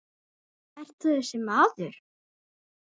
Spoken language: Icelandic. Ert þú þessi maður?